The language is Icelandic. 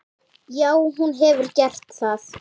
Já, hún hefur gert það.